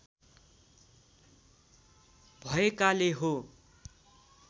भएकाले हो